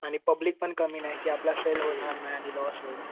आणि पब्लिक पण कमी नाही की आपला सेल होणार नाही आणि लॉस होईल.